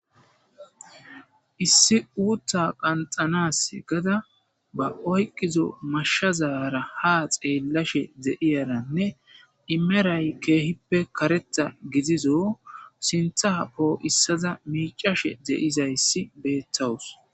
Issi uuttha qanxanas gada ba oyqizo mashshazara ha xeellashe de7iyaranne imeray keehippe karetha gidizo sinthaa poo issaza miicashe de'izayssi beettawus.